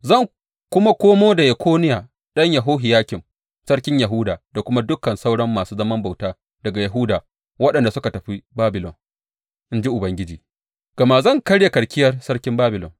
Zan kuma komo da Yekoniya ɗan Yehohiyakim sarkin Yahuda da kuma dukan sauran masu zaman bauta daga Yahuda waɗanda suka tafi Babilon,’ in ji Ubangiji, gama zan karya karkiyar sarkin Babilon.’